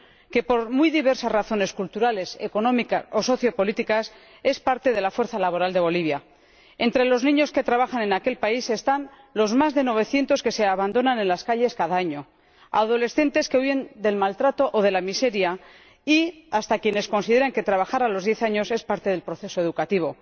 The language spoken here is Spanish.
que, por muy diversas razones culturales, económicas o sociopolíticas, es parte de la fuerza laboral de Bolivia. Entre los niños que trabajan en aquel país están los más de novecientos que se abandonan en las calles cada año, adolescentes que viven del maltrato o de la miseria y hasta quienes consideran que trabajar a los diez años es parte del proceso educativo.